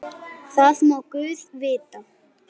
Það má guð vita.